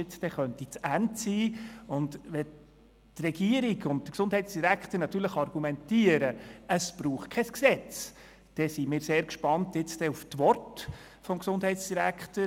Wenn die Regierung und der Gesundheitsdirektor nun argumentieren, es brauche kein Gesetz, dann sind wir sehr gespannt auf die Worte des Gesundheitsdirektors.